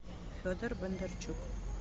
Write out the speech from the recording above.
федор бондарчук